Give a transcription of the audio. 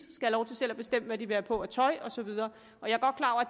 lov til selv at bestemme hvad de vil have på af tøj og så videre